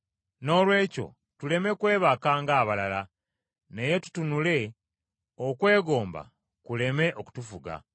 Noolwekyo tuleme kwebaka ng’abalala naye tutunulenga okwegomba kuleme okutufuga.